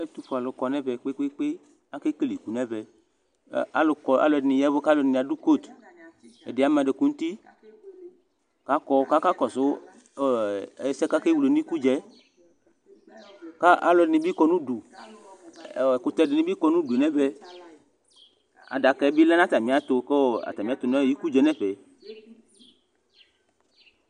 Ɛtʋfue alʋ kɔnʋ ɛvɛ kpe kpe kpe akekele iku nʋ ɛvɛ alʋɛdini adʋ kotʋ ɛdibi ama adʋkʋ nʋ uti akɔ kʋ aka kʋ akɔsʋ ɛsɛ kʋ akekele nʋ ikudza yɛ kʋ alʋ ɛdini kɔnʋ ʋdʋ ɛkʋtɛ dinibi kɔ nʋ adʋ nʋ ɛfɛ adaka yɛ nibi lɛnʋ atamiɛtu nʋ ikʋ dza yɛ nʋ ɛfɛ